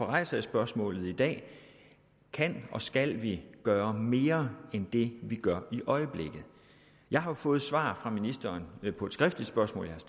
rejser jeg spørgsmålet i dag kan og skal vi gøre mere end det vi gør i øjeblikket jeg har jo fået svar fra ministeren på et skriftligt spørgsmål